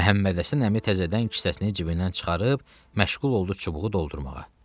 Məhəmməd Həsən əmi təzədən kisəsini cibindən çıxarıb məşğul oldu çubuğu doldurmağa.